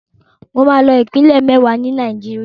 Mo máa lọ ìpínlẹ̀ mẹ́wàá ni Nàìjíríà.